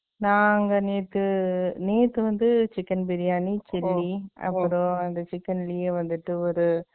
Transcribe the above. நாங்க, நேத்து, நேத்து வந்து, chicken பிரியாணி, chilly அப்புறம், அந்த chicken லயே வந்துட்டு, ஒரு